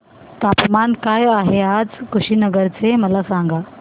तापमान काय आहे आज कुशीनगर चे मला सांगा